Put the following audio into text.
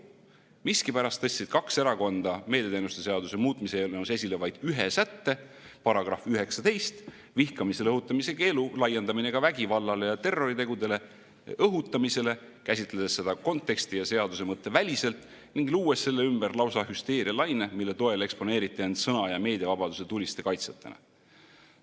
Miskipärast tõstsid kaks erakonda meediateenuste seaduse muutmise eelnõus esile vaid ühe sätte, § 19: vihkamisele õhutamise keelu laiendamine vägivallale ja terroritegudele õhutamisele, käsitledes seda konteksti ja seaduse mõtte väliselt ning luues selle ümber lausa hüsteerialaine, mille toel eksponeeriti end sõna‑ ja meediavabaduse tuliste kaitsjatena.